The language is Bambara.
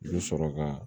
I bɛ sɔrɔ ka